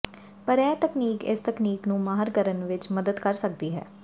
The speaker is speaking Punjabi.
ਪਰ ਇਹ ਤਕਨੀਕ ਇਸ ਤਕਨੀਕ ਨੂੰ ਮਾਹਰ ਕਰਨ ਵਿੱਚ ਮਦਦ ਕਰ ਸਕਦੀ ਹੈ